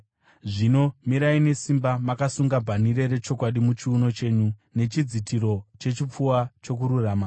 Zvino mirai nesimba, makasunga bhanhire rechokwadi muchiuno chenyu, nechidzitiro chechipfuva chokururama,